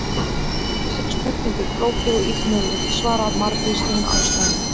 Þessari spurningu er flókið og illmögulegt að svara af margvíslegum ástæðum.